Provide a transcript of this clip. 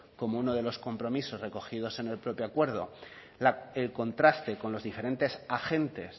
como uno de los compromisos recogidos en el propio acuerdo el contraste con los diferentes agentes